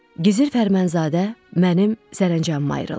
Gizir Fərmanzadə mənim sərəncamıma ayrılmışdı.